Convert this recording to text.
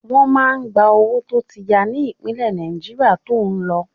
Wọ́n máa gba owó tó ti ya ní ìpínlẹ̀ Náíjà to ń lọ